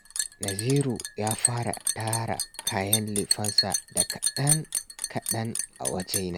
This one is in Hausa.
Naziru ya fara tara kayan lefensa da kaɗan-kaɗan a wajena